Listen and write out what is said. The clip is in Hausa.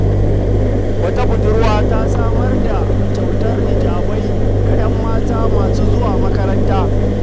Wata budurwa ta raba kyautar hijabai ga ‘yan mata masu zuwa makaranta.